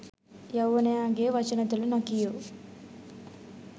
යෞවනයාගේ වචන තුළ නොකියූ